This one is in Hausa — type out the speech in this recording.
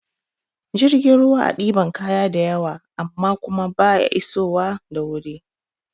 Jirgin ruwa a ɗiban kaya da yawa amma kuma baya iso wa da wuri